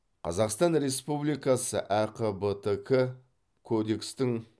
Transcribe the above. қазақстан республикасы әқбтк кодекстің